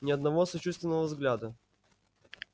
ни одного сочувственного взгляда